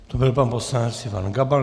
To byl pan poslanec Ivan Gabal.